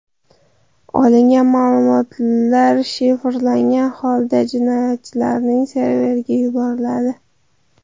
Olingan ma’lumotlar shifrlangan holda jinoyatchilarning serveriga yuboriladi.